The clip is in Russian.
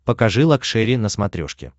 покажи лакшери на смотрешке